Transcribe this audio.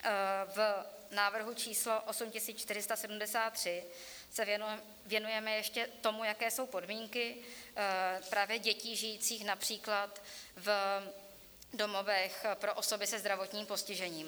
V návrhu č. 8473 se věnujeme ještě tomu, jaké jsou podmínky právě dětí žijících například v domovech pro osoby se zdravotním postižením.